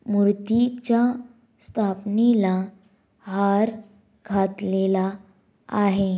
मूर्तीच्या स्थापनेला हार घातलेला आहे.